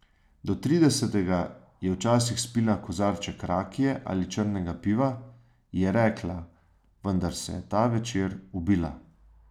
Do tridesetega je včasih spila kozarček rakije ali črnega piva, je rekla, vendar se je ta večer ubila.